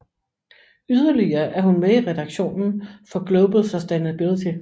Yderligere er hun med i redaktionen for Global Sustainability